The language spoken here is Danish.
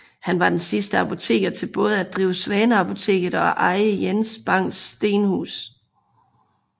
Han var den sidste apoteker til både at drive Svaneapoteket og eje Jens Bangs Stenhus